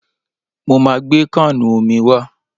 Mo ma gbé káànù omi wá.